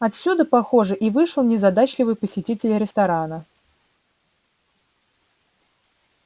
отсюда похоже и вышел незадачливый посетитель ресторана